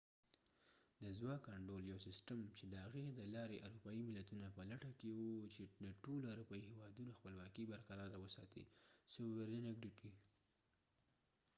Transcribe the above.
د ځواک انډول یو سیستم چې د هغې د لارې اروپایې ملتونه په لټه کې و چې د ټولو اروپایې هیوادونو خپلواکې sovereignity برقراره وساتي